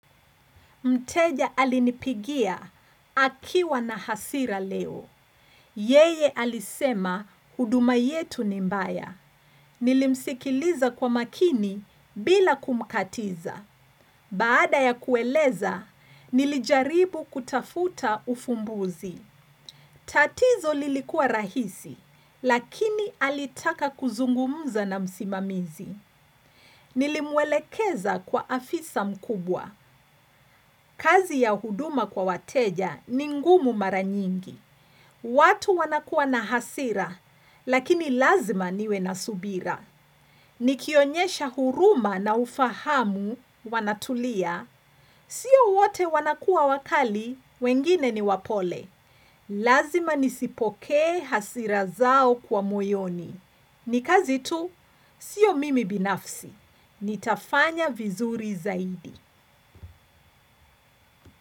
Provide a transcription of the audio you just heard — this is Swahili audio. Mteja alinipigia akiwa na hasira leo. Yeye alisema huduma yetu ni mbaya. Nilimsikiliza kwa makini bila kumkatiza. Baada ya kueleza, nilijaribu kutafuta ufumbuzi. Tatizo lilikua rahisi, lakini alitaka kuzungumuza na msimamizi. Nilimwelekeza kwa afisa mkubwa. Kazi ya huduma kwa wateja ni ngumu mara nyingi. Watu wanakuwa na hasira, lakini lazima niwe na subira. Nikionyesha huruma na ufahamu wanatulia. Sio wote wanakuwa wakali, wengine ni wapole. Lazima nizipokee hasira zao kwa moyoni. Ni kazi tu, sio mimi binafsi. Nitafanya vizuri zaidi.